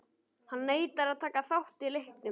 Hann neitar að taka þátt í leiknum.